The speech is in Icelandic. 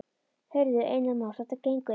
Heyrðu, Einar Már, þetta gengur ekki.